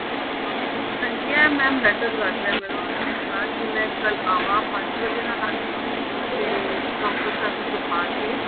ਹਾਂ ਹਾਂਜੀ ਇਹ mam better ਲੱਗ ਰਿਹਾ ਮੈਨੂੰ ਜਿਸ ਤਰ੍ਹਾਂ ਕੀ ਮੈਂ ਕੱਲ ਆਵਾਂ ਪੰਜ ਵਜੇ ਨਾਲ ਆ ਜਾਵਾਂ ਤੇ ਡਾਕਟਰ ਸਾਹਿਬ ਨੂੰ ਦਿਖਾ ਕੇ